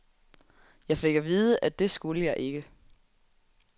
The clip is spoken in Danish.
Jeg fik at vide, at det skulle jeg ikke.